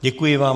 Děkuji vám.